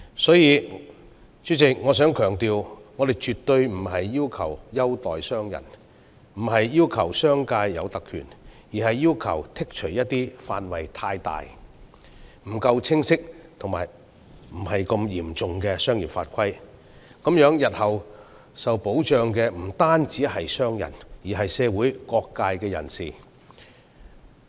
所以，主席，我想強調，我們絕對不是要求政府優待商人，亦不是為商界爭取特權，而是要求剔除一些範圍過大、不夠清晰及不太嚴重的商業法規，以便日後為商人以至社會各界人士提供保障。